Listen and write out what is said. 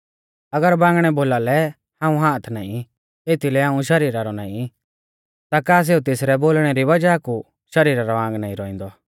अगर बांगणै बोलालै हाऊं हाथ नाईं एथीलै हाऊं शरीरा रौ नाईं ता का सेऊ तेसरै इणै बोलणै री वज़ाह कु शरीरा रौ आंग नाईं रौउंदौ